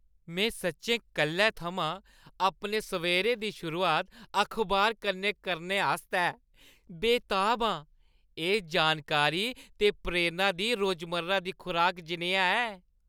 में सच्चैं कल्लै थमां अपने सवेरे दी शुरुआत अखबार कन्नै करने आस्तै बेताब आं। एह् जानकारी ते प्रेरणा दी रोजमर्रा दी खुराका जनेहा ऐ।